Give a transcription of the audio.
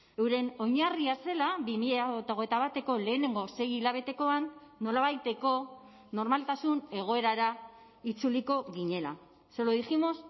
euren oinarria zela bi mila hogeita bateko lehenengo sei hilabetekoan nolabaiteko normaltasun egoerara itzuliko ginela se lo dijimos